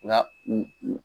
Nga u u